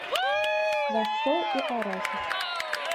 рассол и арахис